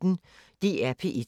DR P1